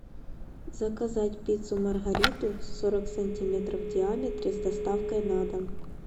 заказать пиццу маргариту сорок сантиметров в диаметре с доставкой на дом